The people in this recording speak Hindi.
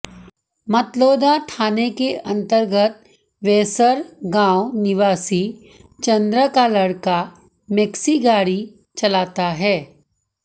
मतलौडा थाने के अंतर्गत वैसर गांव निवासी चंद्र का लड़का मैक्सी गाड़ी चलाता है